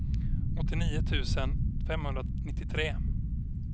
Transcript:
åttionio tusen femhundranittiotre